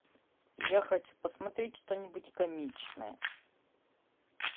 я хочу посмотреть что нибудь комичное